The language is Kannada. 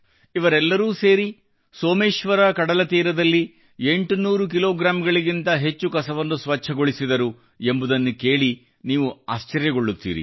ಇವರೆಲ್ಲರೂ ಸೇರಿ ಸೋಮೇಶ್ವರ ಕಡಲತೀರದಲ್ಲಿ 800 ಕಿಲೋಗಿಂತ ಹೆಚ್ಚು ಕಸವನ್ನು ಸ್ವಚ್ಛಗೊಳಿಸಿದರು ಎಂಬುದನ್ನು ಕೇಳಿ ನೀವು ಆಶ್ಚರ್ಯಚಕಿತಗೊಳ್ಳುತ್ತೀರಿ